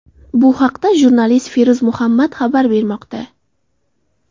Bu haqda jurnalist Feruz Muhammad xabar bermoqda.